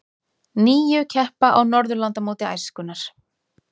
Níu keppa á Norðurlandamóti æskunnar